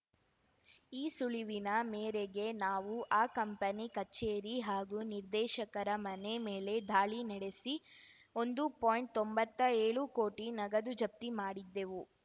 ಈ ಸುಳಿವಿನ ಮೇರೆಗೆ ನಾವು ಆ ಕಂಪನಿ ಕಚೇರಿ ಹಾಗೂ ನಿರ್ದೇಶಕರ ಮನೆ ಮೇಲೆ ದಾಳಿ ನಡೆಸಿ ಒಂದು ಪಾಯಿಂಟ್ತೊಂಬತ್ತಾ ಏಳು ಕೋಟಿ ನಗದು ಜಪ್ತಿ ಮಾಡಿದ್ದೆವು